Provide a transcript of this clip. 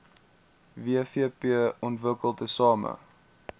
wvp ontwikkel tesame